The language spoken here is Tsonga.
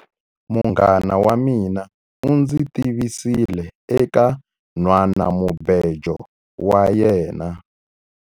Munghana wa mina u ndzi tivisile eka nhwanamubejo wa yena.